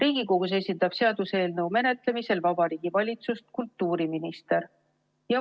Seaduseelnõu menetlemisel Riigikogus esindab Vabariigi Valitsust kultuuriminister.